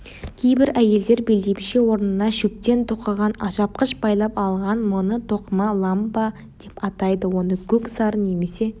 кейбір әйелдер белдемше орнына шөптен тоқыған алжапқыш байлап алған мұны тоқыма ламба деп атайды оны көк сары немесе